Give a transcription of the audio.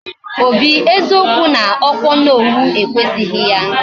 Obi, eziokwu na okwa Onowu ekwesighi ya.